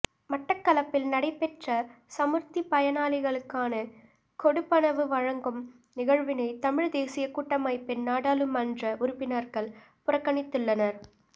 மட்டக்களப்பில் நடைபெற்ற சமுர்த்தி பயனாளிகளுக்கான கொடுப்பனவு வழங்கும் நிகழ்வினை தமிழ் தேசியக் கூட்டமைப்பின் நாடாளுமன்ற உறுப்பினர்கள் புறக்கணித்துள்ளனர்